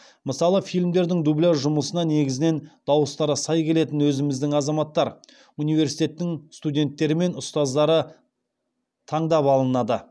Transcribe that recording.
мысалы фильмдердің дубляж жұмысына негізінен дауыстары сай келетін өзіміздің азаматтар университеттің студенттері мен ұстаздары таңдап алынады